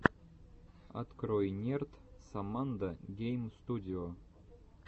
открой нерд соммандо гейм студио